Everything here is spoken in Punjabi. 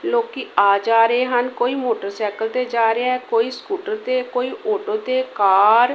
ਲੋਕੀਂ ਆ ਜਾ ਰਹੇ ਹਨ ਕੋਈ ਮੋਟਰਸੈਕਲ ਤੇ ਜਾ ਰਿਹਾ ਹੈ ਕੋਈ ਸਕੂਟਰ ਤੇ ਕੋਈ ਔਟੋ ਤੇ ਕਾਰ --